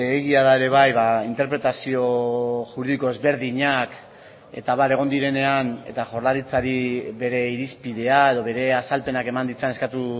egia da ere bai interpretazio juridiko ezberdinak eta abar egon direnean eta jaurlaritzari bere irizpidea edo bere azalpenak eman ditzan eskatu